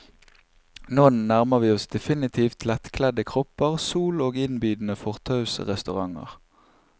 Nå nærmer vi oss definitivt lettkledde kropper, sol, og innbydende fortausrestauranter.